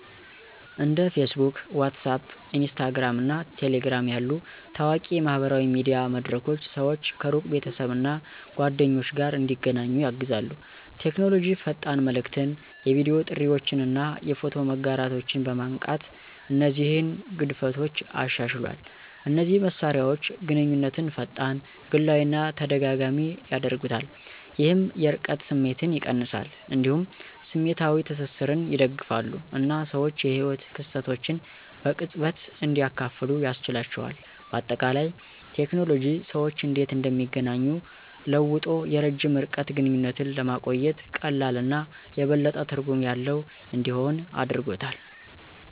እንደ Facebook፣ WhatsApp፣ Instagram እና Telegram ያሉ ታዋቂ የማህበራዊ ሚዲያ መድረኮች ሰዎች ከሩቅ ቤተሰብ እና ጓደኞች ጋር እንዲገናኙ ያግዛሉ። ቴክኖሎጂ ፈጣን መልዕክትን፣ የቪዲዮ ጥሪዎችን እና የፎቶ መጋራትን በማንቃት እነዚህን ግንኙነቶች አሻሽሏል። እነዚህ መሳሪያዎች ግንኙነትን ፈጣን፣ ግላዊ እና ተደጋጋሚ ያደርጉታል፣ ይህም የርቀት ስሜትን ይቀንሳል። እንዲሁም ስሜታዊ ትስስርን ይደግፋሉ እና ሰዎች የህይወት ክስተቶችን በቅጽበት እንዲያካፍሉ ያስችላቸዋል። በአጠቃላይ፣ ቴክኖሎጂ ሰዎች እንዴት እንደሚገናኙ ለውጦ የረጅም ርቀት ግንኙነቶችን ለማቆየት ቀላል እና የበለጠ ትርጉም ያለው እንዲሆን አድርጎታል።